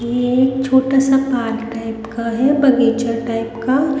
ये छोटा सा पार्क टाइप का है बगीचा टाइप का--